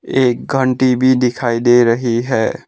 एक घंटी भी दिखाई दे रही है।